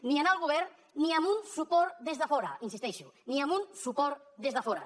ni en el govern ni amb un suport des de fora hi insisteixo ni amb un suport des de fora